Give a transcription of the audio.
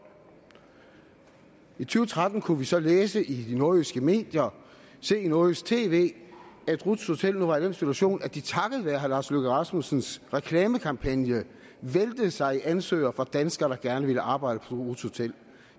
i to tretten kunne vi så læse i de nordjyske medier og se i nordjysk tv at ruths hotel nu var i den situation at de takket være herre lars løkke rasmussens reklamekampagne væltede sig i ansøgere fra danskere der gerne ville arbejde på ruths hotel